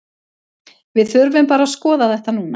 Við þurfum bara að skoða þetta núna.